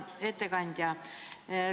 Hea ettekandja!